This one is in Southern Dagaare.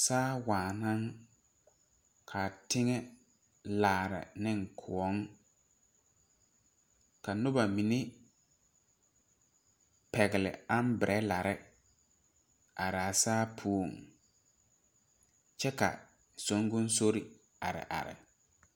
Saa waa naŋ ka a teŋɛ laari ne kõɔ ka noba mine pɛgle aabɛrɛlari are a saa puoŋ kyɛ ka songosori are are.